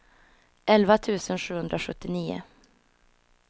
elva tusen sjuhundrasjuttionio